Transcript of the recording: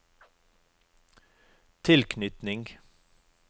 tilknytning